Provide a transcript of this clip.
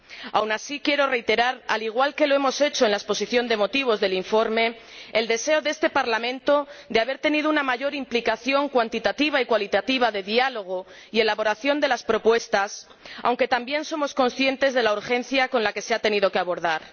Aún así quiero reiterar, al igual que lo hemos hecho en la exposición de motivos del informe, el deseo de este Parlamento de haber tenido una mayor implicación cuantitativa y cualitativa de diálogo en la elaboración de las propuestas, aunque también somos conscientes de la urgencia con la que se han tenido que abordar.